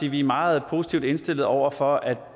at vi er meget positivt indstillet over for at